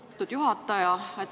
Lugupeetud juhataja!